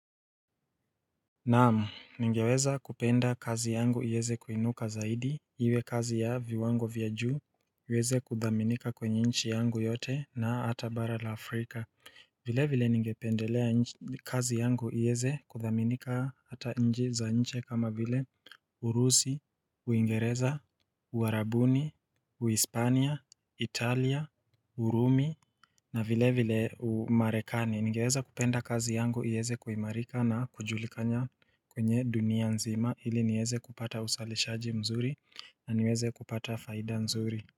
Naam ningeweza kupenda kazi yangu iweze kuinuka zaidi Iwe kazi ya viwango vya juu iweze kuthaminika kwenye nchi yangu yote na hata bara la afrika vile vile ningependelea kazi yangu iweze kuthaminika hata nchi za nje kama vile Urusi, Uingereza, Uarabuni, Uispania, Italia, Urumi na vile vile umarekani, ningeweza kupenda kazi yangu, iweze kuimarika na kujulikana kwenye dunia nzima ili niweze kupata usalishaji mzuri na niweze kupata faida mzuri.